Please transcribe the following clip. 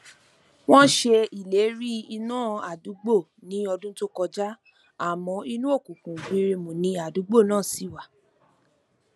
wọn ṣe ileri ina adugbo ni ọdun to kọja amọ inu okunkun gbirimu ni adugbo naa ṣi wa